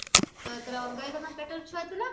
ତ ଯେତେବେଳେ ଅଲଗା ହେଇଯାଇଥିଲେ ତାଙ୍କ ପେଟରେ ଛୁଆ ଥିଲା